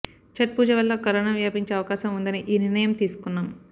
చట్ పూజ వల్ల కరోనా వ్యాపించే అవకాశం ఉందని ఈ నిర్ణయం తీసుకున్నాం